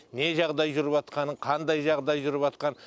не жағдай жүріватқанын қандай жағдай жүріватқан